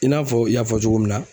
I n'a fɔ i y'a fɔ cogo min na